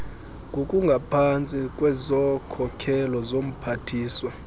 ngokungaphantsi kwezokhokhelo zomphathiswa